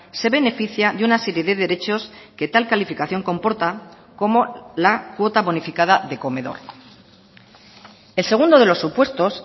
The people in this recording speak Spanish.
se beneficia de una serie de derechos que tal calificación comporta como la cuota bonificada de comedor el segundo de los supuestos